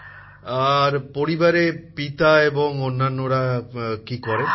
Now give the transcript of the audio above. প্রধানমন্ত্রী জীঃ আর পরিবারে পিতা এবং অন্যান্যরা কী করেন